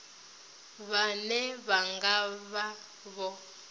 vhane vha nga vha vho